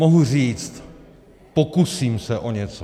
Mohu říct "pokusím se o něco".